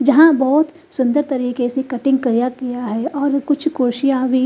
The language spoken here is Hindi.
जहा बोत सुन्दर तरीके से कटिंग किया गया है और कुछ कुड्सिया भी--